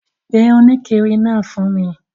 Pe òníkiri naa fun mi